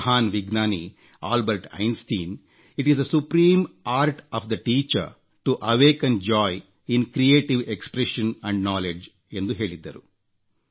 ಮಹಾನ್ ವಿಜ್ಞಾನಿ Albert Einstein it is the supreme art of the teacher to awaken joy in creative expression and knowledgeಎಂದು ಹೇಳಿದ್ದರು